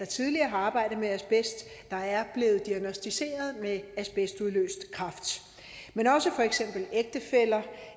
tidligere har arbejdet med asbest der er blevet diagnosticeret med asbestudløst kræft men også for eksempel ægtefæller